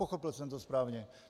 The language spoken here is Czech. Pochopil jsem to správně?